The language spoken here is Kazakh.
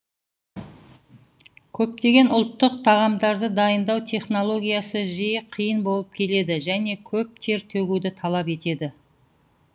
көптеген ұлттық тағамдарды дайындау технологиясы жиі қиын болып келеді және көп тер төгуді талап етеді